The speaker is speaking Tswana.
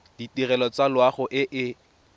ditirelo tsa loago e e